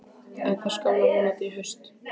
En það skánar vonandi í haust.